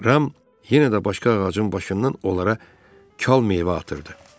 Ram yenə də başqa ağacın başından onlara çal meyvə atırdı.